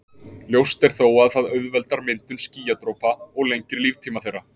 ljóst er þó að það auðveldar myndun skýjadropa og lengir líftíma þeirra